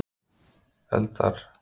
eldar